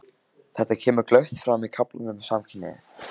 Þetta kemur glöggt fram í kaflanum um samkynhneigð.